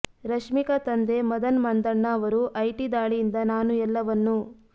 ರಶ್ಮಿಕಾ ತಂದೆ ಮದನ್ ಮಂದಣ್ಣ ಅವರು ಐಟಿ ದಾಳಿಯಿಂದ ನಾನು ಎಲ್ಲವನ್ನೂ